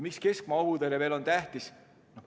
Miks keskmaa õhutõrje veel on tähtis?